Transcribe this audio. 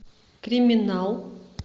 криминал